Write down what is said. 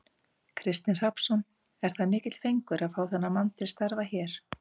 Kristinn Hrafnsson: Er það mikill fengur að fá þennan mann til starfa hér?